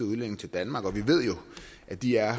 udlændinge til danmark og vi ved jo at de er